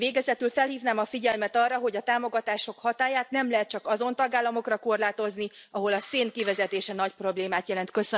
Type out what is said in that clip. Végezetül felhívnám a figyelmet arra, hogy a támogatások hatályát nem lehet csak azon tagállamokra korlátozni, ahol a szén kivezetése nagy problémát jelent.